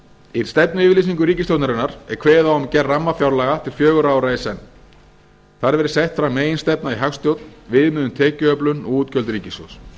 í stefnuyfirlýsingu ríkisstjórnarinnar er kveðið á um gerð rammafjárlaga til fjögurra ára í senn þar verði sett fram meginstefna í hagstjórn viðmið um tekjuöflun og útgjöld ríkissjóðs